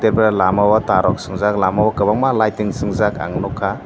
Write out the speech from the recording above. er pore lamao tar rok swngjak lama o kwbangma lighting chwngjak ang nukha.